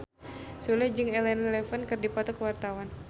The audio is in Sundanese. Sule jeung Elena Levon keur dipoto ku wartawan